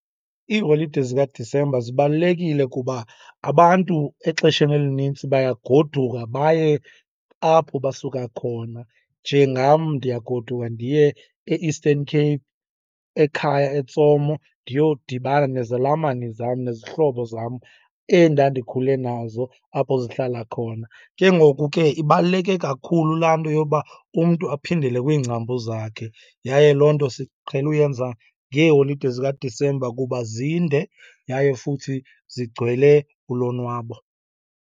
Iiholide zikaDisemba zibalulekile kuba abantu exesheni elinintsi bayagoduka baye apho basuka khona. Njengam ndiyagoduka ndiye e-Eastern Cape ekhaya, eTsomo, ndiyodibana nezalamane zam, nezihlobo zam endandikhule nazo apho zihlala khona. Ke ngoku ke ibaluleke kakhulu laa nto yoba umntu aphindele kwiingcambu zakhe. Yaye loo nto siqhele uyenza ngeeholide zikaDisemba kuba zinde yaye futhi zigcwele ulonwabo.